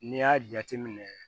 N'i y'a jateminɛ